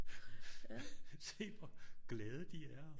Se hvor glade de er og